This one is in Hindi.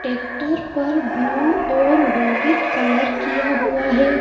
ट्रेक्टर पर ब्लू और व्हाइट कलर किया हुआ है।